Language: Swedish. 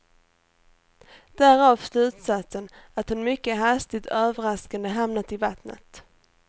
Därav slutsatsen att hon mycket hastigt och överraskande hamnat i vattnet.